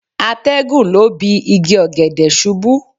Atẹ́gùn lọ́ bi igi ọ̀gẹ̀dẹ̀ ṣubú.